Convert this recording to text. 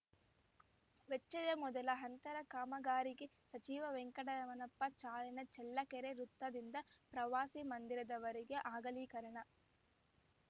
ವೆಚ್ಚಯ ಮೊದಲ ಹಂತದ ಕಾಮಗಾರಿಗೆ ಸಚಿವ ವೆಂಕಟರಮಣಪ್ಪ ಚಾಲನೆ ಚಳ್ಳಕೆರೆ ವೃತ್ತದಿಂದ ಪ್ರವಾಸಿ ಮಂದಿರದವರೆಗೆ ಅಗಲೀಕರಣ